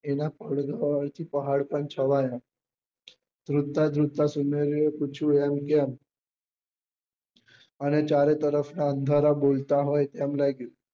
એના પહાડ પર ચડ્યા ધ્રુજતા ધ્રુજતા સુનેરી એ પૂછ્યું એમ કેમ અને ચારો તરફ નાં અંધારા બોલતા હોય તેમ લાગ્યું